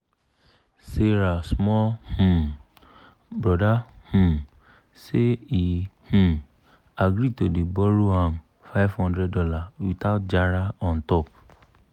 sarah small um brother um say he um agree to dey borrow ahm five hundred dollars without jara on top.